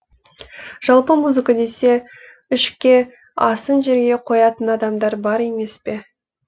жалпы музыка десе ішке асын жерге қоятын адамдар бар емес пе